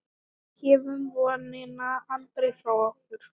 Gefum vonina aldrei frá okkur.